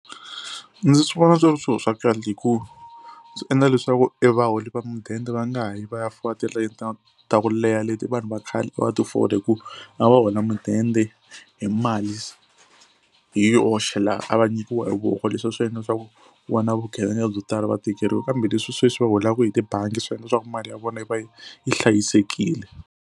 Ndzi swi vona swi ri swilo swa kahle hi ku swi endla leswaku e vaholi va mudende va nga ha yi va ya fola tilayini ta ta ku leha leti vanhu va khale a va ti fola hi ku a va hola mudende hi mali hi yoxe laha a va nyikiwa hi voko, leswi a swi endla leswaku ku va na vugevenga byo tala va tekeriwa kambe leswi sweswi va holaku hi tibangi swi endla leswaku mali ya vona yi va yi yi hlayisekile.